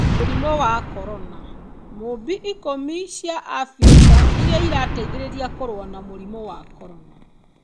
Mũrimũ wa Korona: Mũũmbi ikũmi cia Abirika iria irateithia kũrũa na mũrimũ wa Korona.